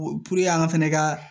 an fɛnɛ ka